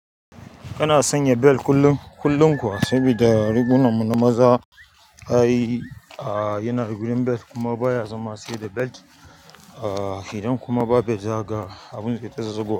Kana sanya bel kullum, kullum kuwa saboda rigunan mu na maza ai a yana da wurin bel kuma baya zama sai da bel. A idan kuma ba bel zakaga abun zaita zazzagowa.